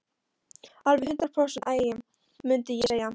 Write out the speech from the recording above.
Alveg hundrað prósent agi, mundi ég segja.